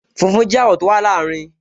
Funfun jẹ́ àwọ̀ tó wà láàrin